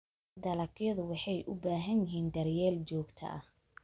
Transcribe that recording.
Dalagyadu waxay u baahan yihiin daryeel joogto ah.